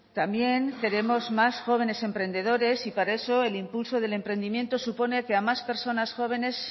también queremos más jóvenes emprendedores y para eso el impulso del emprendimiento supone que a más personas jóvenes